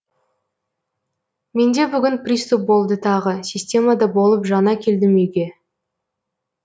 менде бүгін приступ болды тағы системада болып жаңа келдім үйге